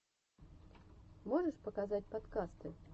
можешь показать подкасты